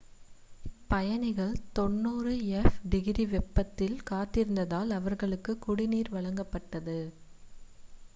பயணிகள் 90f - degree வெப்பத்தில் காத்திருந்ததால் அவர்களுக்கு குடிநீர் வழங்கப்பட்டது